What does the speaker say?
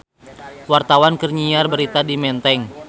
Wartawan keur nyiar berita di Menteng